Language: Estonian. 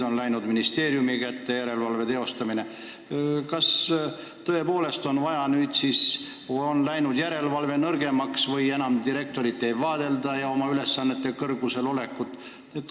Nüüd on järelevalve teostamine läinud ministeeriumi kätte ja järelevalve on nõrgemaks läinud, enam niimoodi direktoreid ei kontrollita, et saada teada, kas nad on oma ülesannete kõrgusel.